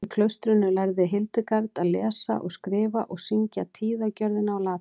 í klaustrinu lærði hildegard að lesa og skrifa og syngja tíðagjörðina á latínu